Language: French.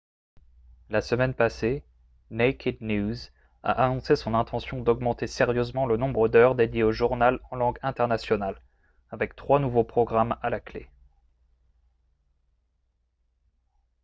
la semaine passée naked news a annoncé son intention d'augmenter sérieusement le nombre d'heures dédiées au journal en langue internationale avec trois nouveaux programmes à la clé